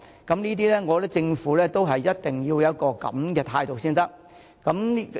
我認為政府一定要有這種態度才可以做到。